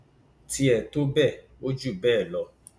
tiẹ tó bẹẹ ó jù bẹẹ lọ